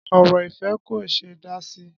Ọ̀rọ̀ ìfẹ́ kò ṣe é dá sí.